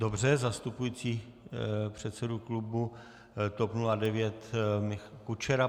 Dobře, zastupující předsedu klubu TOP 09 Michal Kučera.